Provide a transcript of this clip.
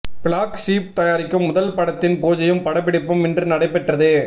black sheep தயாரிக்கும் முதல் படத்தின் பூஜையும் படப்பிடிப்பும் இன்று நடைபெற்றது